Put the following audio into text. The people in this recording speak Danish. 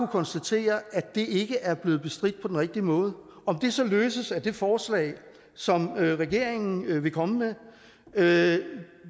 konstatere at det ikke er blevet bestridt på rigtige måde om det så løses af det forslag som regeringen vil komme med